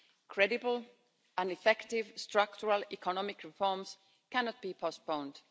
Credible and effective structural economic reforms cannot be postponed.